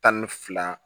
Tan ni fila